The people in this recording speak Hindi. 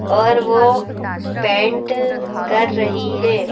और वो पैंट कर रही है।